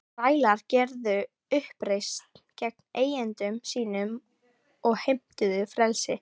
Þrælar gerðu uppreisn gegn eigendum sínum og heimtuðu frelsi.